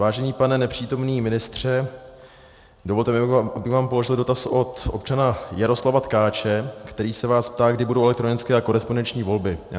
Vážený pane nepřítomný ministře, dovolte mi, abych vám položil dotaz od občana Jaroslava Tkáče, který se vás ptá, kdy budou elektronické a korespondenční volby.